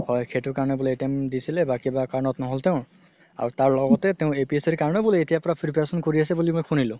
হয় সেইটো কাৰণে বুলে attempt দিছিলে বা কিবা কাৰণত নহ'ল তেওঁৰ আৰু তাৰ লগতে তেওঁ APSC r কাৰণেও বুলে এতিয়া পৰা preparation কৰি আছে বুলি শুনিলো